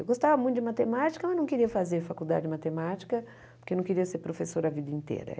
Eu gostava muito de matemática, mas não queria fazer faculdade de matemática, porque não queria ser professora a vida inteira.